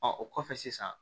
o kɔfɛ sisan